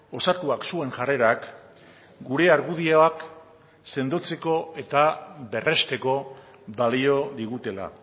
osatuak zuen jarrerak gure argudioak sendotzeko eta berresteko balio digutela